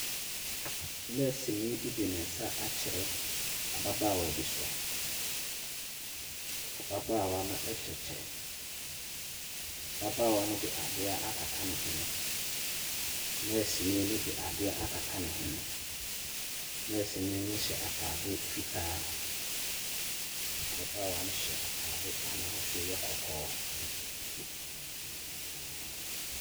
Nɛɛseni bi de ne nsa akyerɛ ababaawa bi so. Ababaawa no hyɛ kyɛ. Ababaawa no de adeɛ akata ne hwene. Nɛɛseni no de adeɛ akata ne hwene. Nɛɛseni no hyɛ atade fitaa. Ababaawa no hyɛ atade a n'ahosuoyɛ kɔkɔɔ.